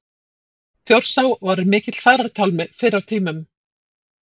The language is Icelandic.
Þjórsá var mikill farartálmi fyrr á tímum.